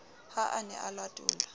ha a ne a latola